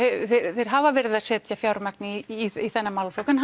þeir hafa verið að setja fjármagn í þennan málaflokk en